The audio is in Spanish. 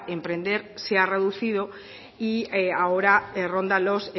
emprender se ha reducido y ahora ronda los